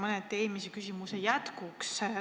Küsin mõneti eelmise küsimuse jätkuks.